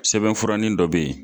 Sɛbɛn fura nin dɔ bɛ yen.